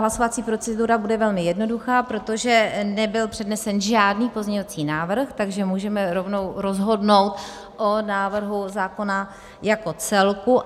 Hlasovací procedura bude velmi jednoduchá, protože nebyl přednesen žádný pozměňovací návrh, takže můžeme rovnou rozhodnout o návrhu zákona jako celku.